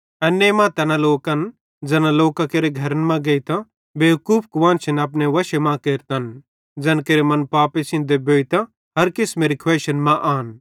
एन्ने मां तैना लोकन ज़ैना लोकां केरे घरन मां गेइतां बेवकूफ कुआन्शन अपने वशे मां केरतन ज़ैन केरे मन पापे सेइं देबोइतां हर किसमेरी खुवैइशन मां आन